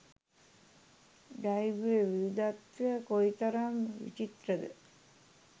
ජෛව විවිධත්වය කොයිතරම් විචිත්‍රද.